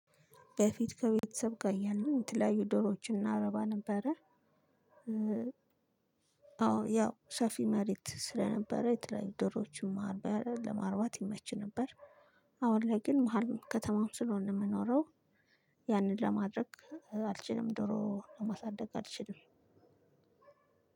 በፊት ከቤተሰብ ጋር ያለን የተለያዩ ድሮዎችን አናረባ ነበረ። አዎ ያው ሰፊ መሬት ስለነበረ የተለያዩ ዶሮችን ማርባ ያለ ለማርባት ይመች ነበር። አሁን ላይ ግን መሃል ከተማም ስለሆነ የምኖረው ያንን ለማድረግ አልችልም። ዳሮ ማሳደግ አልችልም።